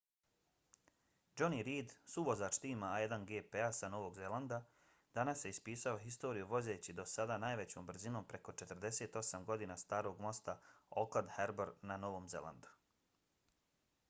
jonny reid suvozač tima a1gp-a sa novog zelanda danas je ispisao historiju vozeći do sada najvećom brzinom preko 48 godina starog mosta auckland harbour na novom zelandu